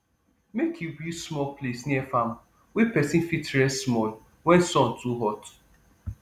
make u build small place near farm wey person fit rest small wen sun too hot